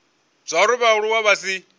zwauri vhaaluwa vhane vha si